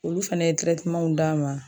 Olu fɛnɛ ye d'a ma